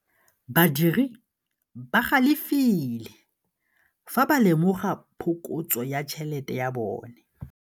Badiri ba galefile fa ba lemoga phokotsô ya tšhelête ya bone.